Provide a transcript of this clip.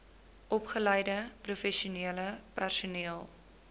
opgeleide professionele personeel